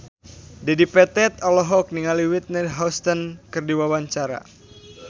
Dedi Petet olohok ningali Whitney Houston keur diwawancara